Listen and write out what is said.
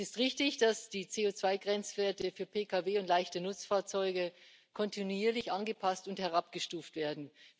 Es ist richtig, dass die CO2 Grenzwerte für Pkw und leichte Nutzfahrzeuge kontinuierlich angepasst und herabgestuft werden.